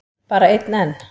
Bara einn enn?